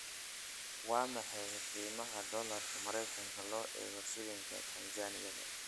Waa maxay qiimaha dollarka marka loo eego shilinka Tansaaniya?